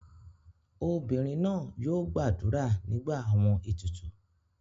Obinrin naa yoo gbadura nigba awọn etutu